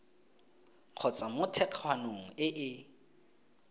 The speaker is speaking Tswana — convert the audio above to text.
kgotsa mo thekgwaneng e e